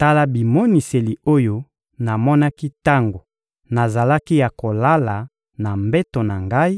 Tala bimoniseli oyo namonaki tango nazalaki ya kolala na mbeto na ngai: